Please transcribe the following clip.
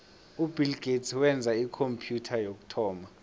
ubill gates wenza ikhompyutha yokuthoma